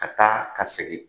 Ka taa ka segin